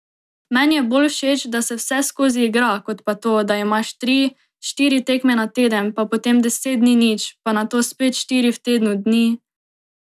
Meni je bolj všeč, da se vseskozi igra, kot pa to, da imaš tri, štiri tekme na teden, pa potem deset dni nič, pa nato spet štiri v tednu dni ...